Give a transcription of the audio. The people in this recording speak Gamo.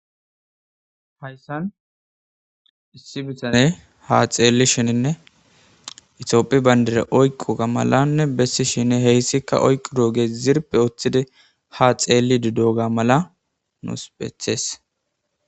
hayssan issi bitane ha xeelli shininne itioophi bayndire oyqu ga malanne bessi shine heyssikka oyqu doogee zirpe oththide ha xeelli didoga mala nuuspethees